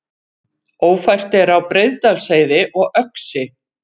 Ófært er á Breiðdalsheiði og Öxi